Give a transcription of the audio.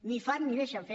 ni fan ni deixen fer